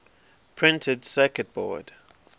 printed circuit board